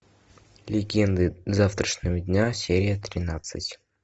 легенды завтрашнего дня серия тринадцать